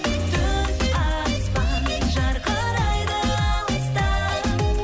түн аспан жарқырайды алыстан